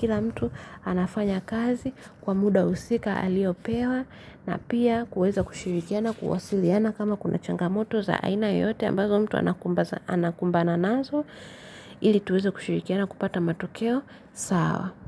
kila mtu anafanya kazi kwa muda husika aliopewa na pia kuweza kushirikiana kuwasiliana kama kuna changamoto za aina yote ambazo mtu anakumbana nazo ili tuweze kushirikiana kupata matokeo sawa.